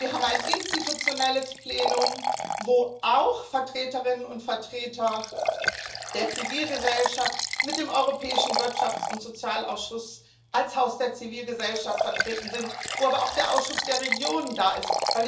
Wir haben ein institutionelles Plenum, wo auch Vertreterinnen und Vertreter der Zivilgesellschaft mit dem Europäischen Wirtschafts und Sozialausschuss als Haus der Zivilgesellschaft vertreten sind, wo aber auch der Ausschuss der Regionen da ist.